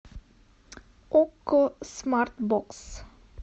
окко смарт бокс